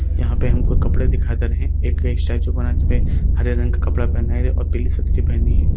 यहाँ पे हमको कपड़े दिखाई दे रहे हैं एक स्टैचू बना है जिसपे हरे रंग का कपड़ा पहनाया गया है और पीली सदरी पहनी है।